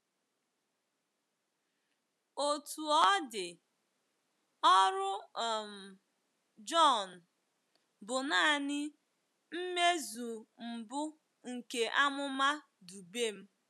Otú ọ dị, ọrụ um Jọn bụ nanị mmezu mbụ nke amụma Dubem.